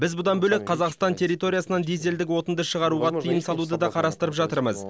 біз бұдан бөлек қазақстан территориясынан дизельдік отынды шығаруға тыйым салуды да қарастырып жатырмыз